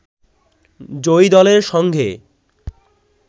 জয়ী দলের সঙ্গে